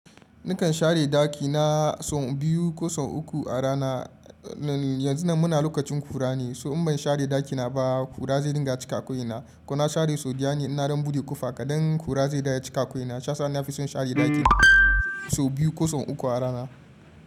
Nakan share ɗakina sau biyu ko sau uku a rana. Yanzu nan muna lokacin ƙura ne, so in ban share ɗakina ba ƙura zai dinga cika ko'ina. Ko na share so daya ne in na don buɗe ƙofa kaɗan, ƙura zai dawo ya cika ko'ina. Shi ya sa nafi son share ɗakina sau biyu ko sau uku a rana.